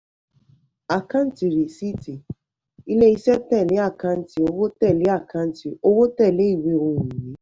àkáǹtì rìsíìtì: ilé-iṣẹ́ tẹ̀lé àkáǹtì owó tẹ̀lé àkáǹtì owó tẹ̀lé ìwé ohun-ìní.